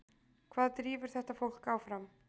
Hvað drífur þetta fólk áfram?